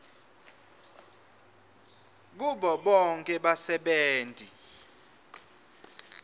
kubo bonkhe basebenti